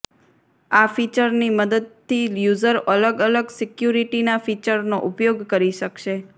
આ ફીચરની મદદતી યૂઝર અલગ અલગ સિક્યુરિટીના ફીચરનો ઉપયોગ કરી શકશે